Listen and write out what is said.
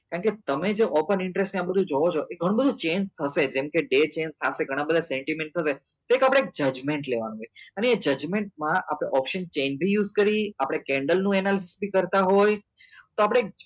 કેમ કે તમે એ open interest ને એ બધું જોવો છો એ ગણું બધું change બી થશે જેમ કે day change થશે ગના બધા એક આપડે judgement લેવાનું હે અને એ judgement માં આપડે option chain બી use કરીએ આપડે candle નું analysis બી કરતા હોય તો આપડે એક